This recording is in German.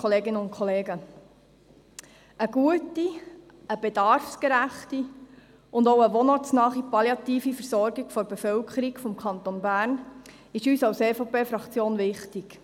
Eine gute, eine bedarfsgerechte und auch eine wohnortsnahe palliative Versorgung der Bevölkerung des Kantons Bern ist uns als EVP-Fraktion wichtig.